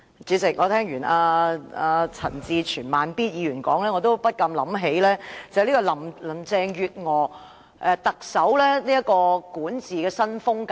主席，我聽罷陳志全議員的發言後，便不禁想起特首林鄭月娥的管治新風格。